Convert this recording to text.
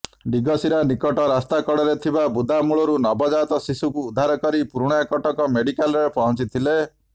ଡିଗସିରା ନିକଟ ରାସ୍ତା କଡରେ ଥିବା ବୁଦାମୂଳରୁ ନବଜାତ ଶିଶୁକୁ ଉଦ୍ଧାର କରି ପୁରୁଣାକଟକ ମେଡିକାଲରେ ପହଞ୍ଚିଥିଲେ